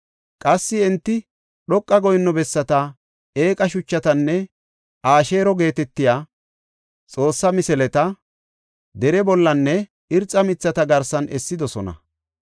Qassi enti dhoqa goyinno bessata, eeqa shuchatanne Asheero geetetiya xoosse misileta dere bollanne irxa mithata garsan essidosona.